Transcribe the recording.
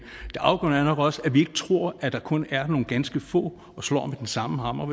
det afgørende er nok også at vi ikke tror at der kun er nogle ganske få og slår med den samme hammer